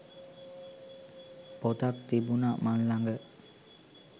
පොතක් තිබුන මන් ළඟ.